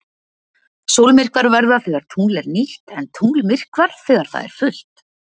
Sólmyrkvar verða þegar tungl er nýtt en tunglmyrkvar þegar það er fullt.